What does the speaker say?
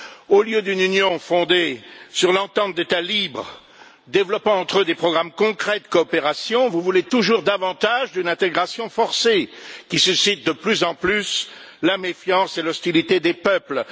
Au lieu d'une Union fondée sur l'entente d'États libres développant entre eux des programmes concrets de coopération, vous voulez toujours davantage d'une intégration forcée, qui suscite de plus en plus la méfiance et l'hostilité des peuples.